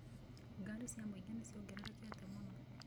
Ngari cia mũingĩ nĩ ciongererekete mũno.